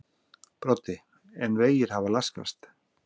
Broddi: En vegir hafa laskast?